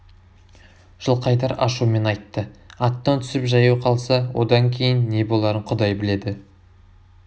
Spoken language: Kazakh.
жылқайдар ашумен айтты аттан түсіп жаяу қалса одан кейін не боларын құдай біледі